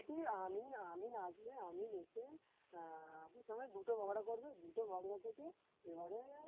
মোটামুটি আমিন আমিন আসবে আমিন এসে আহ এখানে দুটো বখরা করবে দুটো বখরা থেকে এবারে